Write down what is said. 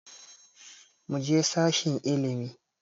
Muje sashen ilimi